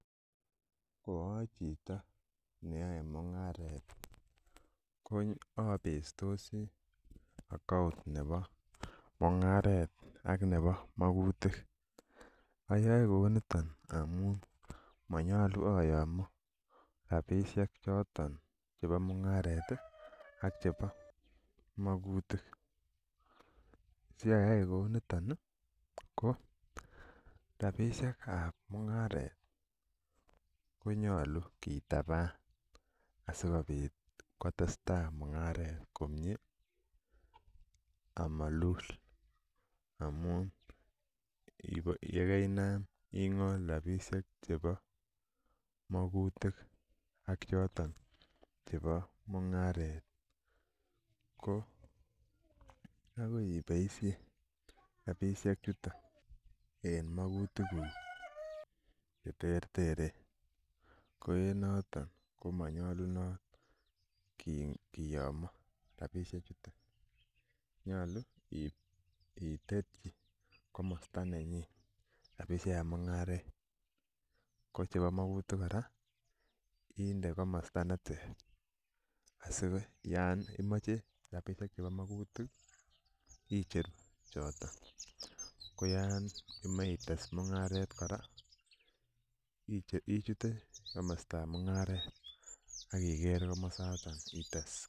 Ko achito neyoe mung'aret ko obestosi account nebo mung'aret ak nebo mokutik oyoe kouniton amun monyolu ayomo rapisiek choton chebo mung'aret ak chebo mokutik siayai kouniton ih ko rapisiek ab mung'aret konyolu kitaban asikobit kotesetai mung'aret komie amolul amun yekeinam ing'ol rapisiek chebo mokutik ak choton chebo mung'aret ko akoi iboisien rapisiek chuton en mokutik kuk cheterteren ko en noton komonyolunot koyomo rapisiek chuton nyolu iib itetyi komosta nenyin rapisiek ab mung'aret ko chebo mokutik kora inde komosta neter asikoyan imoche rapisiek chebo mokutik icheru choton ko yon imoche ites mung'aret kora ichute komostab mung'aret ak iker komosaton ites